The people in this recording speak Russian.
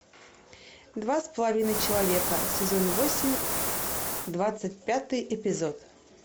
два с половиной человека сезон восемь двадцать пятый эпизод